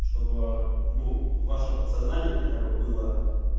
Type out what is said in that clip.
чтобы ээ ну в вашем подсознании хотя бы было